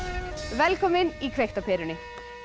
velkomin í kveikt á perunni